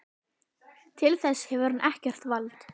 Til þess hefur hann ekkert vald!